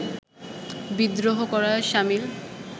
বিদ্রোহ করার সামিল